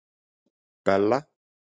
Bella